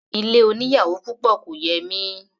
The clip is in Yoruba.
Ilé oníyàwò púpọ̀ kò yẹ mí.